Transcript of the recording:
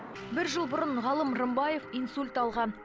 бір жыл бұрын ғалым рымбаев инсульт алған